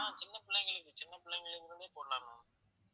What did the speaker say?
ma'am சின்ன பிள்ளைங்களுக்கு சின்ன பிள்ளைங்களுக்குமே போடலாம் ma'am